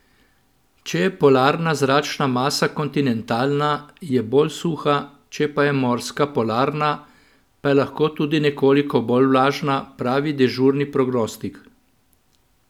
Če je polarna zračna masa kontinentalna, je bolj suha, če pa je morska polarna, pa je lahko tudi nekoliko bolj vlažna, pravi dežurni prognostik.